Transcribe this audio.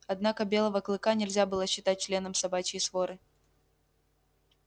однако белого клыка нельзя было считать членом собачьей своры